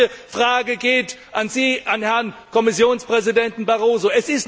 Die gleiche Frage geht an Sie, an Herrn Kommissionspräsident Barroso.